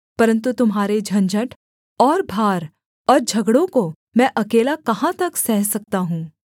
परन्तु तुम्हारे झंझट और भार और झगड़ों को मैं अकेला कहाँ तक सह सकता हूँ